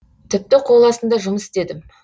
тіпті қол астында жұмыс істедім